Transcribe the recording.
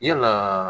Yalaa